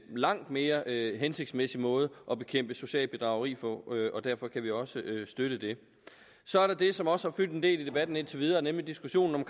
langt mere hensigtsmæssig måde at bekæmpe socialt bedrageri på og derfor kan vi også støtte det så er der det som også har fyldt en del i debatten indtil videre nemlig diskussionen om